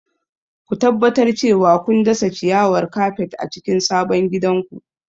Ku tabbatar cewa kun dasa ciyawar kafet a cikin sabon gidanku.